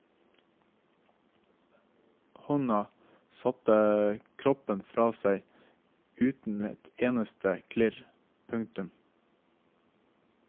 Hånda satte koppen fra seg uten et eneste klirr. punktum